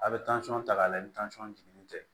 A bɛ tansɔn ta k'a lajɛ ni jiginnen tɛ